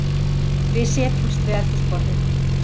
Við setjumst við eldhúsborðið.